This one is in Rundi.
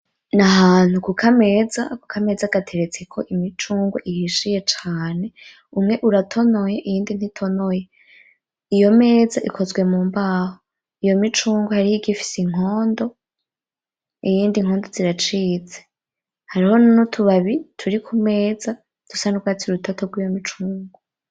N'ahantu ku kameza, ako kameza gateretseko imicungwe ihishiye cane, umwe uratonoye iyindi ntitonoye iyo meza ikozwe mu mbaho iyo micungwe hariho iyigise inkondo, iyindi inkondo ziracitse hariho n'utubabi turi kumeza dusa n'urwatsi rutoto rwiyo micungwe.